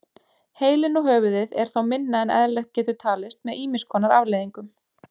Heilinn og höfuðið er þá minna en eðlilegt getur talist með ýmis konar afleiðingum.